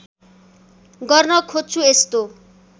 गर्न खोज्छु यस्तो